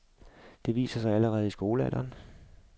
Det viser sig allerede i skolealderen.